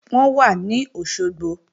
Wọ́n wà ní Òṣogbo